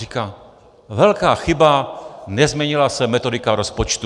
Říká: Velká chyba, nezměnila se metodika rozpočtu.